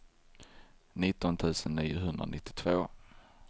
nitton tusen niohundranittiotvå